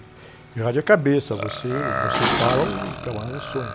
E rádio é cabeça, você, você fala, o camarada sonha.